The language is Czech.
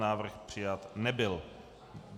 Návrh přijat nebyl.